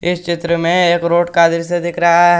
इस चित्र में एक रोड का दृश्य दिख रहा है।